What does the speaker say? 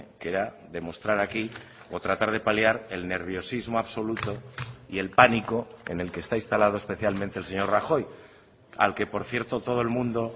que era demostrar aquí o tratar de paliar el nerviosismo absoluto y el pánico en el que está instalado especialmente el señor rajoy al que por cierto todo el mundo